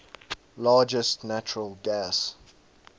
largest natural gas